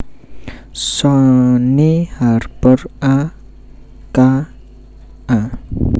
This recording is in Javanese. Shane Harper a k a